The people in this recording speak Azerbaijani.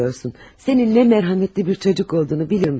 Sənin nə qədər rəhmli bir uşaq olduğunu bilirəm mən.